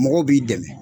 Mɔgɔw b'i dɛmɛ